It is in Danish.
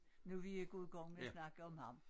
Nu vi gået i gang med at snakke om ham